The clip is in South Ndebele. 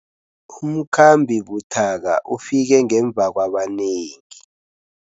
Umkhambi buthaka ufike ngemva kwabanengi.